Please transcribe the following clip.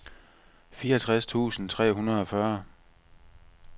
fireogtres tusind tre hundrede og fyrre